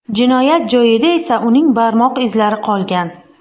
Jinoyat joyida esa uning barmoq izlari qolgan.